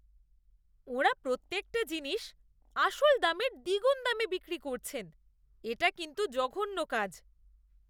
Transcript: ওঁরা প্রত্যেকটা জিনিস আসল দামের দ্বিগুণ দামে বিক্রি করছেন। এটা কিন্তু জঘন্য কাজ।